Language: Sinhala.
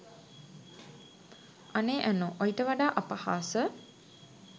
අනේ ඇනෝ ඔයිට වඩා අපහාස